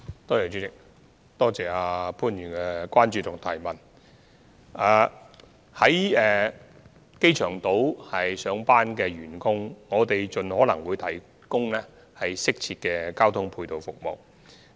我們會盡可能為在機場島上班的員工提供適切的交通配套服務。